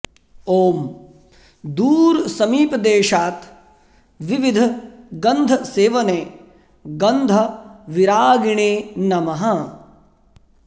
ॐ दूर समीप देशात् विविध गन्धसेवने गन्धविरागिणे नमः